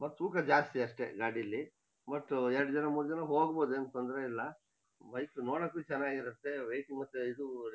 But ತೂಕ ಜಾಸ್ತಿ ಅಷ್ಟೇ ಗಾಡೀಲಿ ಬುಟ್ಟು ಎರ್ಡಜನ ಮೂರ್ಜನ ಹೋಗ್ಬೋದು ಏನ್ ತೊಂದ್ರೆ ಇಲ್ಲ ಬೈಕ್ ನೋಡಕ್ಕೂ ಚೆನ್ನಾಗಿರತ್ತೆ ವೈಟ್ ಮತ್ತೆ ಇದು.